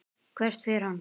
Hvert fer hann?